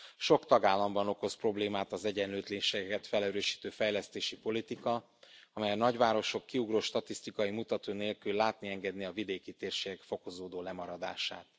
Sok tagállamban okoz problémát az egyenlőtlenségeket felerősítő fejlesztési politika, amely a nagyvárosok kiugró statisztikai mutatói nélkül látni engedi a vidéki térségek fokozódó lemaradását.